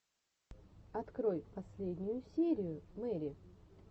открой последнюю серию мэри